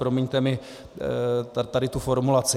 Promiňte mi tady tu formulaci.